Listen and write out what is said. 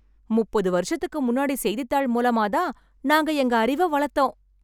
முப்பது வருஷத்துக்கு முன்னாடி செய்தித்தாள் மூலமா தான் நாங்க எங்க அறிவ வளத்தோம்